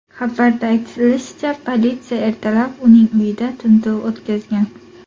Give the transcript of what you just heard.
Xabarda aytilishicha, politsiya ertalab uning uyida tintuv o‘tkazgan.